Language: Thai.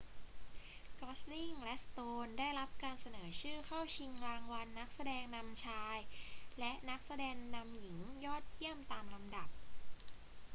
กอสลิงและสโตนได้รับการเสนอชื่อเข้าชิงรางวัลนักแสดงนำชายและนักแสดงนำหญิงยอดเยี่ยมตามลำดับ